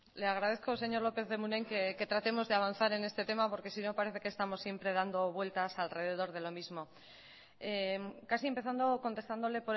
le agradezco señor lópez de munain que tratemos de avanzar en este tema porque si no parece que estamos dando vueltas siempre alrededor de lo mismo casi empezando contestándole